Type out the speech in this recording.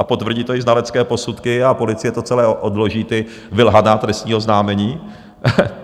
A potvrdí to i znalecké posudky a policie to celé odloží, ta vylhaná trestní oznámení.